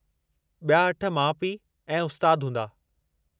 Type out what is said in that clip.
ॿिया अठ माउ पीउ ऐं उस्ताद हूंदा।